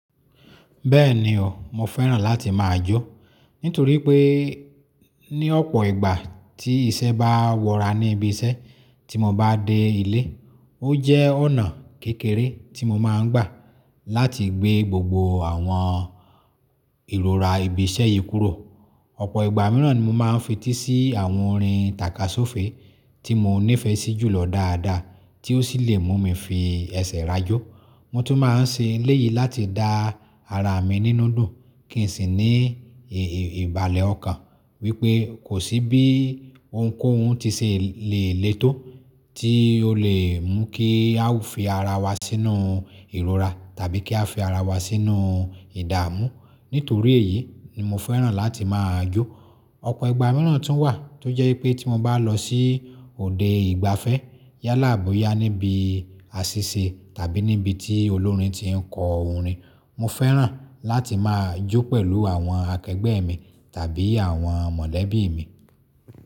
Bẹ́ẹ̀ni o, mo fẹ́ràn láti máa jó. Nítorí pé ní ọ̀pọ̀ ìgbà tí iṣẹ́ bá wọra ní ibi iṣẹ́ tí mo bá dé ilé, ó jẹ́ ọ̀nà kékeré tí mo máa ń gbà láti gbé gbogbo àwọn ìrora ibi iṣẹ́ yìí kúrò. Ọ̀pọ̀ ìgbà mìíràn ni mo máa ń fetí sí àwọn orin tàkasófe tí mo nífẹsí jù lọ dáadáa tí ó sì lè mú mi fi ẹsẹ̀ rajó. Mo tún máa ń ṣe eléyìí láti dá ara mi nínú dùn kín sì ní ìbàlẹ̀ ọkàn wípé kò sí bí ounkóhun tí ṣe lè létó tí ó lè mú kí a fi ara wa sínú ìrora tàbí kí a fi ara wa sínú ìdààmú. Nítorí èyí ni mo fẹ́ràn láti máa jó. Ọ̀pọ̀ ìgbà mìíràn tún wà tó jẹ́ pé tí mo bá lọ sí òde ìgbafẹ́ yálà boyá níbi àṣìṣe tàbí níbi tí olórin tiń kọ orin, mo fẹ́ràn láti máa jó pẹ̀lú àwọn akẹgbẹ́ mi tàbí àwọn mọ̀lẹ́bí mi.